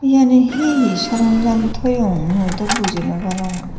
iyeni hihi saranjon toyon mui dw buji nw parongor.